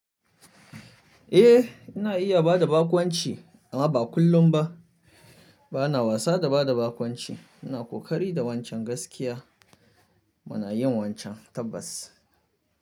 Eh, ina iya ba da bakunci amma ba kullum ba. Bana wasa da ba da bakunci, ina ƙoƙari da wancan gaskiya. Muna yin wancan tabbas.